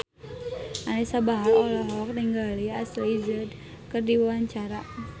Anisa Bahar olohok ningali Ashley Judd keur diwawancara